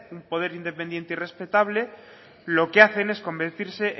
un poder independiente y respetable lo que hacen es convertirse